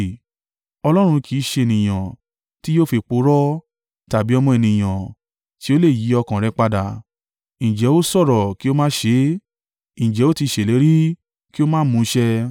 Ọlọ́run kì í ṣe ènìyàn, tí yóò fi purọ́, tàbí ọmọ ènìyàn, tí ó lè yí ọkàn rẹ̀ padà. Ǹjẹ́ ó sọ̀rọ̀ kí ó má ṣe é? Ǹjẹ́ ó ti ṣèlérí kí ó má mu un ṣẹ?